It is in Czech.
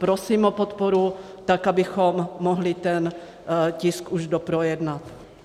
Prosím o podporu tak, abychom mohli ten tisk už doprojednat.